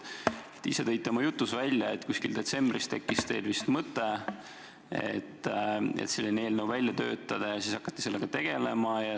Te ise tõite oma jutus välja, et detsembris tekkis teil mõte selline eelnõu välja töötada, ja siis hakati sellega tegelema.